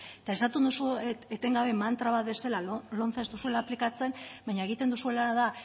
eta esaten duzue etengabe mantra bat bezala lomce ez duzuela aplikatzen baina egiten duzuena da